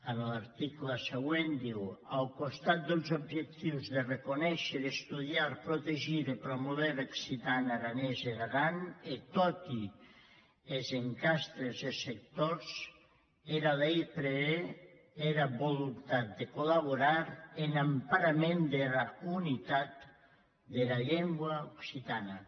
en l’article següent diu ath costat des objectius de reconéisher estudiar protegir e promover er occitan aranés en aran en toti es encastres e sectors era lei prevé era voluntat de collaborar en emparament dera unitat dera lenga occitana